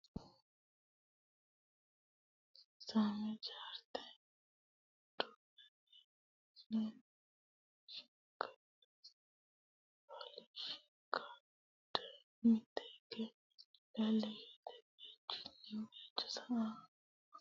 Kiisaame chaarte duucha filashshikaarde mitte hige leellishate baychunni baycho haa re ha rate rosiisaanono ikkito horonsi ratenna coy fooliishsho kalaqate kaa litanno Kiisaame.